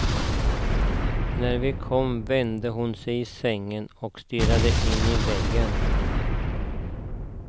När vi kom vände hon sig i sängen och stirrade in i väggen.